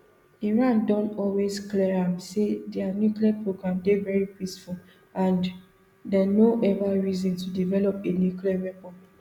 iran don always clear am say dia nuclear program dey very peaceful and dem no ever reason to develop a nuclear weapon